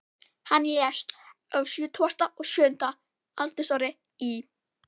Hann lést á sjötugasta og sjötta aldursári í